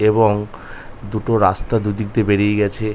এবং দুটো রাস্তা দু''দিক দিয়ে বেরিয়ে গেছে।